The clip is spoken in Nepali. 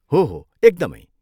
हो हो, एकदमै।